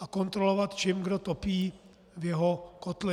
a kontrolovat, čím kdo topí v jeho kotli.